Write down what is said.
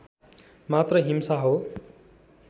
मात्र हिंसा हो